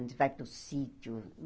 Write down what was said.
A gente vai para o sítio.